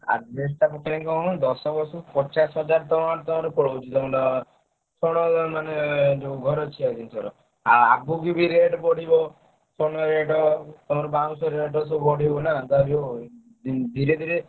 Adjbest ଟା ପକେଇଲେ କଣ ହବନା ଦଶ ବର୍ଷକୁ ପଚାଶ ହଜାର ଟଙ୍କା ତମର ପଳଉଛି କଣ ମାନେ ଯୋଉ ଘର ଛିଆ ଭିତରେ ଆଉ ଆଗୁକୁ ବି rate ବଢିବ। ଛଣ rate ତମର ବାଉଁଶ rate ସବୁ ବଢିବ ନା ଯାହାବି ହଉ ଉଁ ଧୀରେ ଧୀରେ